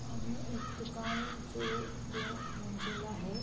सामने एक दुकान है जो दो मंजिला है।